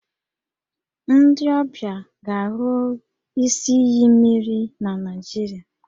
Ndị ọbịa ga-ahụ isi iyi mmiri na Nigeria